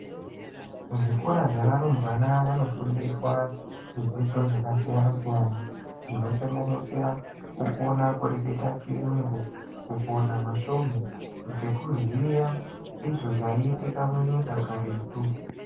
Zvikora zvevarumbwana vanofundiswa zvidzidzo zvakasiyana-siyana. Zvinosanganisira kukona kureketa chiyungu, kukona masvomhu. Ngekuziya izvo zvaiitika munyika karetu.